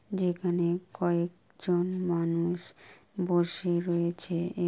যেখানে কয়ে-এ-ক জন মানুষ বসে রয়েছে এ--